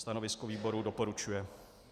Stanovisko výboru: Doporučuje.